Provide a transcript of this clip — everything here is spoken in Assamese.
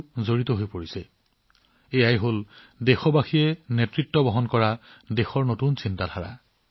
এইটো দেশৰ নতুন চিন্তা যাক সকলো দেশবাসীয়ে একত্ৰিতভাৱে নেতৃত্ব দি আছে